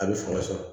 A bɛ fanga sɔrɔ